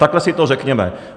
Takhle si to řekněme.